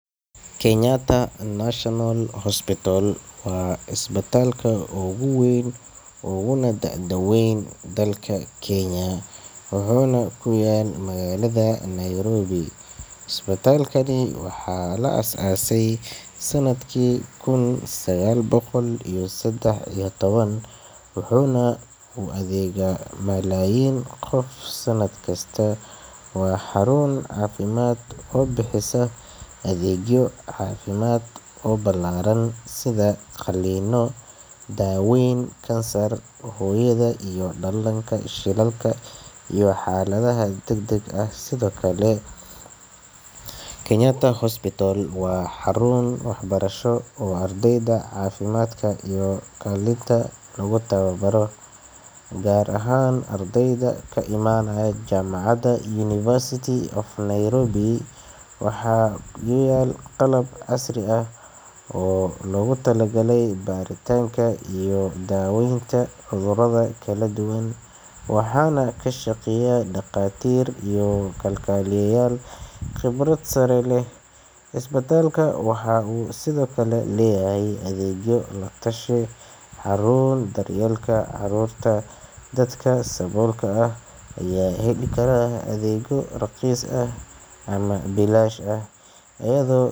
Kenyatta National Hospital waa isbitaalka ugu weyn uguna da'da weyn dalka Kenya, wuxuuna ku yaalaa magaalada Nairobi. Isbitaalkan waxaa la aasaasay sannadkii 1913, wuxuuna u adeegsadaa malaayiin qof sanad walba. Waa xarun caafimaad oo bixisa adeegyo ballaaran sida qalliinka, daaweynta kansarka, daryeelka hooyada iyo dhallaanka, xaaladaha degdegga ah iyo shilalka. Kenyatta National Hospital sidoo kale waa xarun waxbarasho oo ay ku tababartaan ardayda caafimaadka, gaar ahaan kuwa ka yimaada University of Nairobi. Waxaa yaal qalab casri ah oo loogu talagalay baaritaanka iyo daweynta cudurrada kala duwan, waxaana ka shaqeeya dhakhaatiir iyo kalkaaliyayaal khibrad sare leh. Isbitaalka wuxuu kaloo leeyahay adeegyo la-talin, xarun daryeel carruur, iyo adeegyo gaar u ah dadka saboolka ah, kuwaas oo heli kara daryeel raqiis ah ama bilaash ah.